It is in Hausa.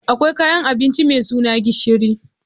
Akwai kayan abinci mai suna gishiri